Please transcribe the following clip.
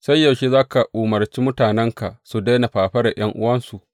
Sai yaushe za ka umarci mutanenka su daina fafaran ’yan’uwansu?